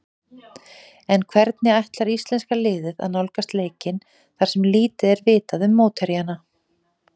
En hvernig ætlar íslenska liðið að nálgast leikinn þar sem lítið er vitað um mótherjana?